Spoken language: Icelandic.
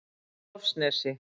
Hofsnesi